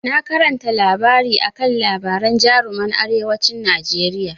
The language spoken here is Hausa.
Na karanta littafi akan labaran jaruman arewacin Najeriya.